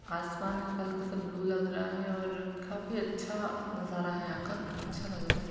आसमान हल्का सा ब्लू लग रहा है और काफी अच्छा नजारा हैयहां का अच्छा लग रहा है।